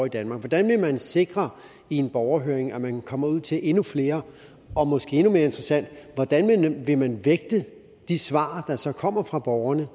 i danmark hvordan vil man sikre i en borgerhøring at man kommer ud til endnu flere og måske endnu mere interessant hvordan vil man vægte de svar der så kommer fra borgerne